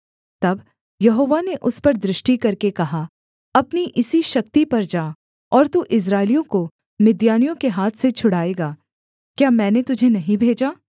तब यहोवा ने उस पर दृष्टि करके कहा अपनी इसी शक्ति पर जा और तू इस्राएलियों को मिद्यानियों के हाथ से छुड़ाएगा क्या मैंने तुझे नहीं भेजा